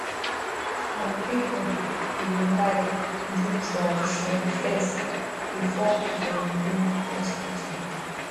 some people da like do tradition fes before dem go hospital